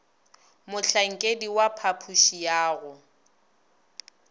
mohlankedi wa phapoši ya go